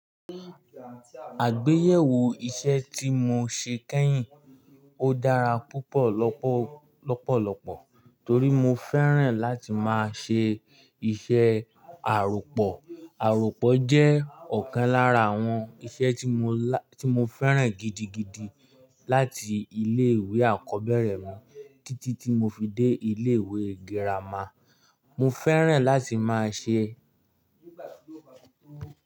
Àgbéyẹ̀wò iṣẹ ti mo ṣe keyin, o dara pupọ lọpọlọpọ tori mo fẹràn lati maa se iṣẹ àròpọ̀. Àròpọ̀ jẹ́ ọ̀kan lára àwọn iṣẹ́ tí mo fẹ́ràn gidigidi láti ilé ìwé àkọ́bẹ̀rẹ̀ mi títí tí mo fi dé ilé ìwé girama. Mo fẹ́ràn láti máa ṣe.